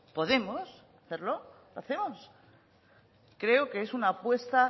podemos hacerlo lo hacemos creo que es una apuesta